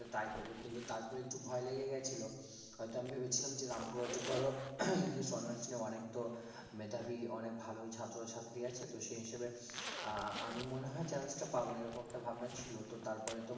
তাই করবো কিন্তু তারপর একটু ভয় লেগে গিয়েছিল হয়তো আমি ভেবেছিলাম যে রামপুরহাটে ধরো english honours নিয়ে অনেক তো মেধাবী অনেক ভালোই ছাত্র ছাত্রী আছে তো সেই হিসেবে আহ আমি মনে হয় chance টা পাবো না এরকম একটা ভাবনা ছিল তো তারপরে তোমার